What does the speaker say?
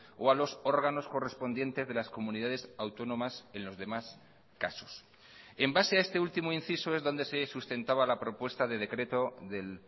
o a los órganos correspondientes de las comunidades autónomas en los demás casos en base a este último inciso es donde se sustentaba la propuesta de decreto del